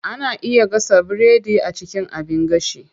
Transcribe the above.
Ana iya gasa biredi a cikin abin gashi.